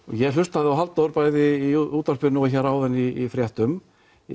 ég hlustaði á Halldór bæði í útvarpinu og hér áðan í fréttum